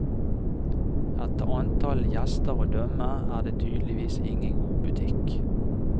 Etter antallet gjester å dømme er det tydeligvis ingen god butikk.